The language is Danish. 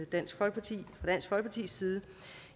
dansk folkepartis side